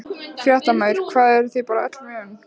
Fréttamaður: Hvað, eruð þið bara öllu vön?